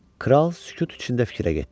Kral sükut içində fikrə getdi.